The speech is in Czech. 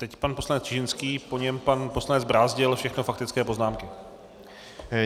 Teď pan poslanec Čižinský, po něm pan poslanec Brázdil, všechno faktické poznámky.